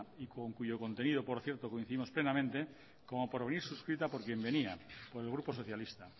y con cuyo contenido por cierto coincidimos plenamente como por venir suscrita por quien venía por el grupo socialista